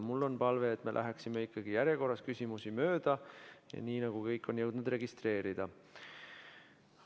Mul on palve, et me läheksime ikkagi järjekorras küsimusi mööda, nii nagu kõik on jõudnud end registreerida.